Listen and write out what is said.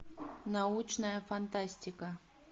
научная фантастика